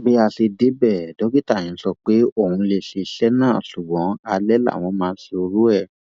bí a ṣe débẹ dókítà yẹn sọ pé òun lè ṣe iṣẹ náà ṣùgbọn alẹ làwọn máa ń ṣerú ẹ